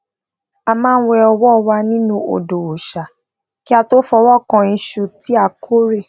a máa ń wẹ ọwó wa nínú odò òòṣà kí a tó fọwó kan isu ti a kore